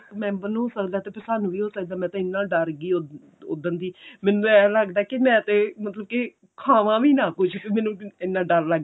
member ਨੂੰ ਹੋ ਸਕਦਾ ਤੇ ਫਿਰ ਸਾਨੂੰ ਵੀ ਹੋ ਸਕਦਾ ਮੈਂ ਤੇ ਇੰਨਾ ਡਰ ਗਈ ਉਧਨ ਦੀ ਮੈਨੂੰ ਤੇ ਏਂ ਲੱਗਦਾ ਕੀ ਮੈਂ ਤੇ ਮਤਲਬ ਕੀ ਖਾਵਾਂ ਵੀ ਨਾ ਕੁੱਝ ਮੈਨੂੰ ਮੈਨੂ ਇੰਨਾ ਡਰ ਲੱਗ ਰਿਹਾ